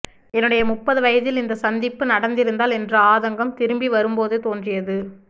என்னுடைய முப்பது வயதில் இந்த சந்திப்பு நடந்திருந்தால் என்ற ஆதங்கம் திரும்பி வரும்போது தோன்றியது